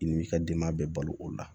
I n'i b'i ka denbaya bɛɛ balo o la